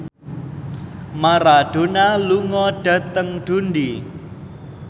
Maradona lunga dhateng Dundee